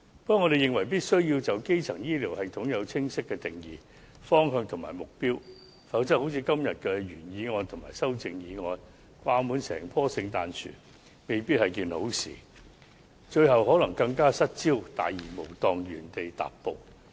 不過，我們認為必須就基層醫療系統制訂清晰的定義、方向和目標，否則正如今天的原議案和修正案般，掛滿整棵聖誕樹，未必是好事，最後更可能失焦，大而無當，原地踏步。